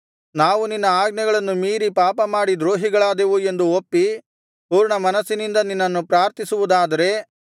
ನಾವು ನಿನ್ನ ಆಜ್ಞೆಗಳನ್ನು ಮೀರಿ ಪಾಪಮಾಡಿ ದ್ರೋಹಿಗಳಾದೆವು ಎಂದು ಒಪ್ಪಿ ಪೂರ್ಣಮನಸ್ಸಿನಿಂದ ನಿನ್ನನ್ನು ಪ್ರಾರ್ಥಿಸುವುದಾದರೆ